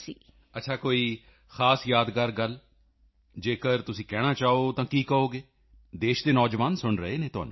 ਅੱਛਾ ਕੋਈ ਖਾਸ ਯਾਦਗਾਰ ਗੱਲ ਜੇਕਰ ਤੁਸੀਂ ਕਹਿਣਾ ਚਾਹੋ ਤਾਂ ਕੀ ਕਹੋਗੇਦੇਸ਼ ਦੇ ਨੌਜਵਾਨ ਸੁਣ ਰਹੇ ਹਨ ਤੁਹਾਨੂੰ